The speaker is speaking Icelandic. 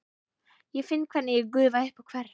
Ég finn hvernig ég gufa upp og hverf.